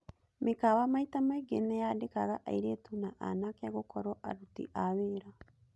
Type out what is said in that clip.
Mĩkawa maita maingĩ nĩyandĩkaga airĩtu na anake gũkorwo aruti a wĩra.